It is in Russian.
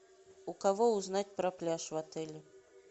у кого узнать про пляж в отеле